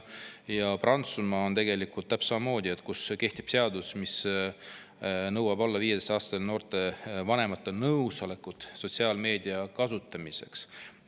Prantsusmaal kehtib seadus, mis nõuab alla 15‑aastastelt noortelt vanemate nõusolekut sotsiaalmeedia kasutamiseks.